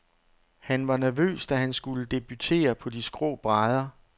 Han var nervøs, da han skulle debutere på de skrå brædder.